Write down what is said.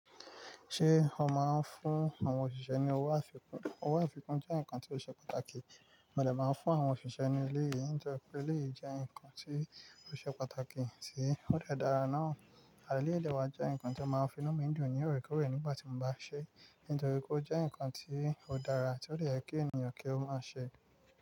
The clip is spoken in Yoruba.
Ṣé ó máa ń fún àwọn òṣìṣẹ́ ní owó àfikún? Owó àfikún jẹ́ nǹkan tó ṣe pàtàkì, mo dè máa fún àwọn òṣìṣẹ́ ní éleyìí. Nítorí pé eleyìí jẹ́ nǹkan tí ó ṣe pàtàkì tì ó de dára ná. À eleyii dẹ̀ wa jẹ́ nǹkan tí o máa ń fi inú mi dùn ní òrékòorè nígbà tí mo bá ṣe é. Nítorí kó jẹ́ nǹkan tí ó dára ti ó dè ye kí ènìyàn kí ó máa ṣe.